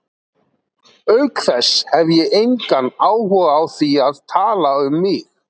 Auk þess hef ég engan áhuga á því að tala um mig.